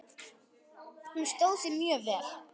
Hún stóð sig mjög vel.